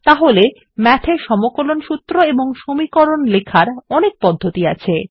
তাহলে Math এ সমকলন সূত্র এবং সমীকরণ লেখার অনেক পদ্ধতি আছে